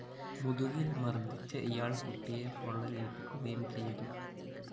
മുതുകില്‍ മര്‍ദ്ദിച്ച ഇയാള്‍ കുട്ടിയെ പൊള്ളലേല്‍പ്പിക്കുകയും ചെയ്തു